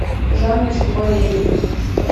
жанночку валееву